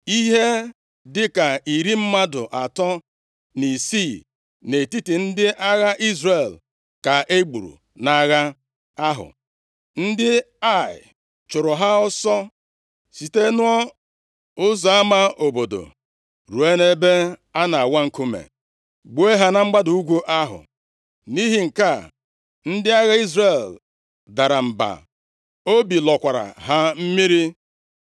Ihe dịka iri mmadụ atọ na isii nʼetiti ndị agha Izrel ka e gburu nʼagha ahụ. Ndị Ai chụrụ ha ọsọ site nʼụzọ ama obodo ruo nʼebe a na-awa nkume, gbuo ha na mgbada ugwu ahụ. Nʼihi nke a, ndị agha Izrel dara mba, obi lọkwara ha mmiri.